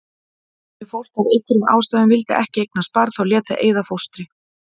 Ef fólk af einhverjum ástæðum vildi ekki eignast barn þá lét það eyða fóstri.